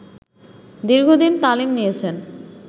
দীর্ঘদিন তালিম নিয়েছেন